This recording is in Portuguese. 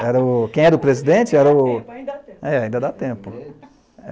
Era o, quem era o presidente era o... Ainda dá tempo, ainda dá tempo. É ainda da tempo